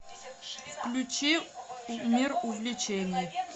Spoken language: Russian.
включи мир увлечений